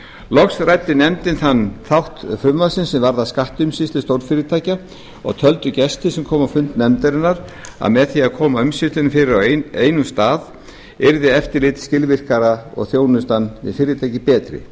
loks ræddi nefndin þann þátt frumvarpsins sem varðar skattumsýslu stórfyrirtækja og töldu gestir sem komu á fund nefndarinnar að með því að koma umsýslunni fyrir á einum stað yrði eftirlit skilvirkara og þjónusta við fyrirtækin betri